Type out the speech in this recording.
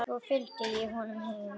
Svo fylgdi ég honum heim.